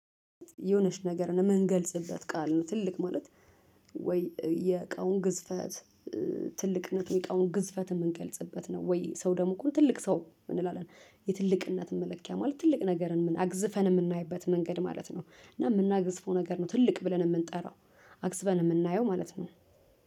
የሆነች ነገርን የምገልጽበት ቃል ነው ትልቅ ማለት ወይ የእቃውን ግዝፈት ትልቅነቱ የእቃውን ግዝፈት የምንገልጽበት ነው? ወይ ሰው ደግሞ እኮ ትልቅ ሰው እንላለን የትልቅነት መለኪያ ማለት ትልቅ ነገርን አግዝፈን የምናይበት መንገድ ማለት ነው። እና የምናግዝፈው ነገር ነው ትልቅ ብለን የምንጠራው አግዝፈን የምናየው ማለት ነው።